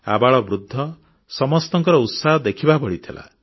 ଆବାଳବୃଦ୍ଧ ସମସ୍ତଙ୍କ ଉତ୍ସାହ ଦେଖିବା ଭଳି ଥିଲା